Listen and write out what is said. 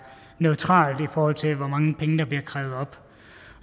neutralt i forhold til hvor mange penge der bliver krævet op